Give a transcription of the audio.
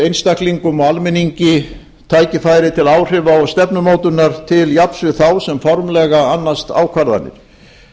einstaklingum og almenningi tækifæri til áhrifa og stefnumótunar til jafns við þá sem formlega annast ákvarðanir